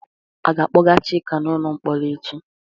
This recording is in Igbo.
A ga-akpọga Chika n'ụlọ mkpọrọ echi?